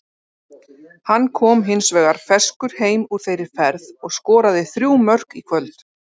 Hann kom hins vegar ferskur heim úr þeirri ferð og skoraði þrjú mörk í kvöld.